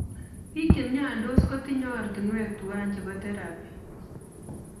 Biik chemiandos kotinye ortunwek tuwai chebo therapy